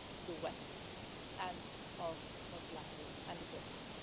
of the West and of multilateralism and diplomacy.